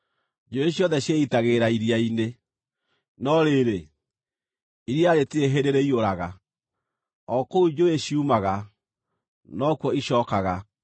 Njũũĩ ciothe ciĩitagĩrĩra iria-inĩ, no rĩrĩ, iria rĩtirĩ hĩndĩ rĩiyũraga. O kũu njũũĩ ciumaga, nokuo icookaga.